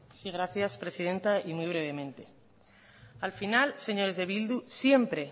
sí gracias presidenta y muy brevemente al final señores de bildu siempre